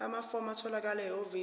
amafomu atholakala ehhovisi